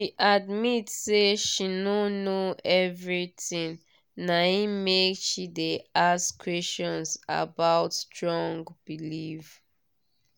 she admit say she no know everythingna him make she de ask questions about strong belief